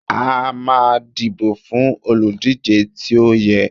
a ma dibo fún olúdije tí o yẹ